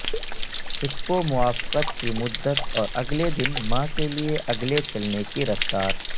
ہپو موافقت کی مدت اور اگلے دن ماں کے لئے اگلے چلنے کی رفتار